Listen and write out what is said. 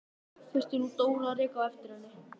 Þurfti nú Dóra að reka á eftir henni!